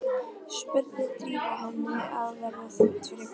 spurði Drífa, henni var að verða þungt fyrir brjóstinu.